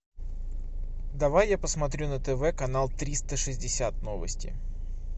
давай я посмотрю на тв канал триста шестьдесят новости